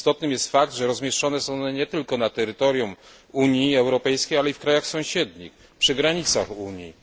Istotnym jest fakt, że rozmieszczone są one nie tylko na terytorium Unii Europejskiej, ale i w krajach sąsiednich, przy granicach Unii.